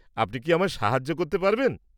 আপনি কি আমায় সাহায্য করতে পারবেন?